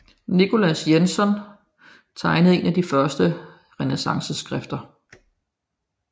Nicolas Jenson tegnede en af de første renæssanceskrifter